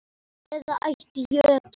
eða ætt jötuns